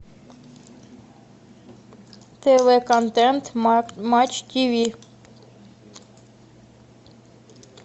тв контент матч тв